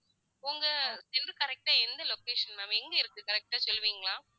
உங்க correct ஆ எந்த location ma'am எங்க இருக்கு correct ஆ சொல்லுவீங்களா